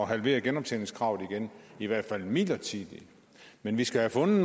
halvere genoptjeningskravet igen i hvert fald midlertidigt men vi skal have fundet